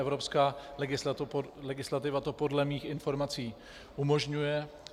Evropská legislativa to podle mých informací umožňuje.